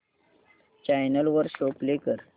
channel वर show play कर